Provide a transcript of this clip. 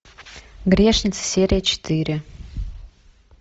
грешница серия четыре